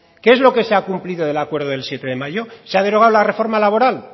qué es lo que se ha cumplido del acuerdo del siete de mayo se ha derogado la reforma laboral